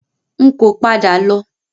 N kò padà lọ.